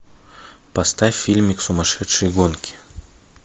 поставь фильмик сумасшедшие гонки